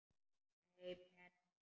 Nei, Bertha.